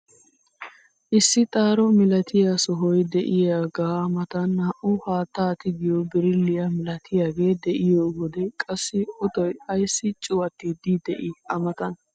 Issi xaaro milatiyaa sohoy de'iyaaga matan naa"u haattaa tigiyoo birilliyaa milatiyaagee de'iyoo wode qassi ootoy ayssi cuwattiidi de'ii a matan?